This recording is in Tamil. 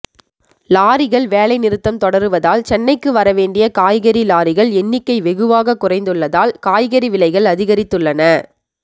லாரிகள் வேலைநிறுத்தம் தொடருவதால் சென்னைக்கு வரவேண்டிய காய்கறி லாரிகள் எண்ணிக்கை வெகுவாக குறைந்துள்ளதால் காய்கறி விலைகள் அதிகரித்துள்ளன